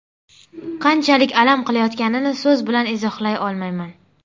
Qanchalik alam qilayotganini so‘z bilan izohlay olmayman”.